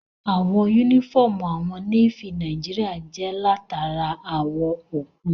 Àwọ̀ yúnífọ́ọ̀mù àwọn Nééfì Nàìjíríyà jẹ́ látara àwọ̀ òkun